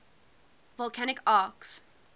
volcanic arcs